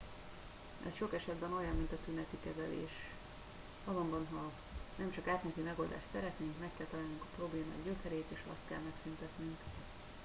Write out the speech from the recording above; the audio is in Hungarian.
ez sok esetben olyan mint a tüneti kezelés azonban ha nem csak átmeneti megoldást szeretnénk meg kell találnunk a problémák gyökerét és azt kell megszüntetnünk